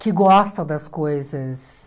Que gosta das coisas...